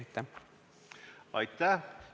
Aitäh!